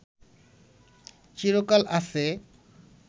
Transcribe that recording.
চিরকাল আছে